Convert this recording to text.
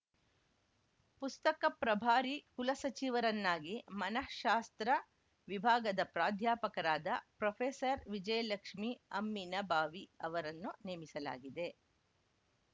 ಪುಸ್ತಕ ಪ್ರಭಾರಿ ಕುಲಸಚಿವರನ್ನಾಗಿ ಮನಃಶಾಸ್ತ್ರ ವಿಭಾಗದ ಪ್ರಾಧ್ಯಾಪಕರಾದ ಪ್ರೊಫೆಸರ್ವಿಜಯಲಕ್ಷ್ಮಿ ಅಮ್ಮಿನಬಾವಿ ಅವರನ್ನು ನೇಮಿಸಲಾಗಿದೆ